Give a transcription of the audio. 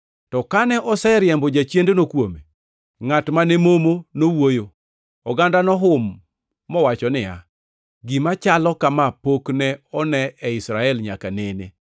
To kane oseriembo jachiendno kuome, ngʼat ma ne momo nowuoyo. Oganda nohum mowacho niya, “Gima chalo kama pok ne one e Israel nyaka nene.”